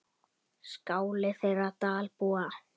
Skáli þeirra Dalbúa.